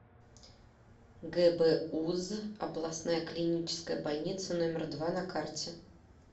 гбуз областная клиническая больница номер два на карте